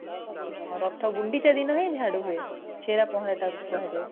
ହଁ ଗୁଣ୍ଡିଚା ଦିନ ହିଁ ଝାଡୁ ହୁଏଛେରା ପହଁରା ତାକୁ କୁହାଯାଏ